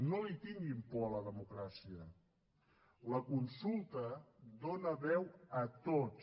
no li tinguin por a la democràcia la consulta dóna veu a tots